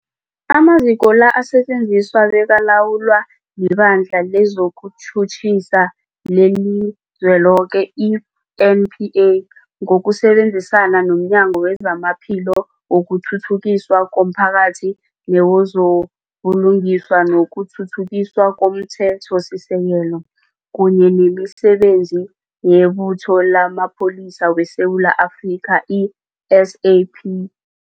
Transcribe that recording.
Amaziko la asetjenziswa bekalawulwa liBandla lezokuTjhutjhisa leliZweloke, i-NPA, ngokusebenzisana nomnyango wezamaPhilo, wokuthuthukiswa komphakathi newezo buLungiswa nokuThuthukiswa komThethosisekelo, kunye nemiSebenzi yeButho lamaPholisa weSewula Afrika, i-SAP